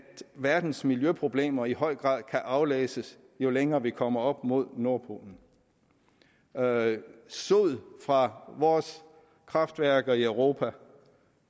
verdens miljøproblemer i høj grad kan aflæses jo længere vi kommer op mod nordpolen sod fra vores kraftværker i europa